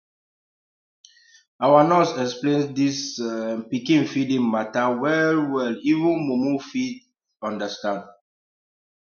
our nurse explain this um pikin feeding matter wellwell even mumu fit um understand